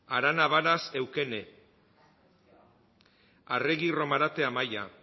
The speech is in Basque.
arana varas eukene arregi romarate amaia